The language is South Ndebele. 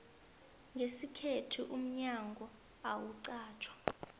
ngesikhethu umnyango awuqatjwa